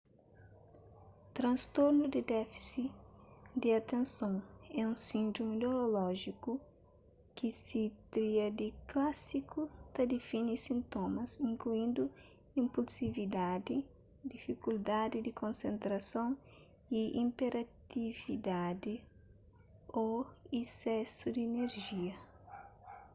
transtornu di défisi di atenson é un síndromi neurolójiku ki se tríadi klásiku ta defini sintomas inkluindu inpulsividadi difikuldadi di konsentrason y iperatividadi ô isesu di inerjia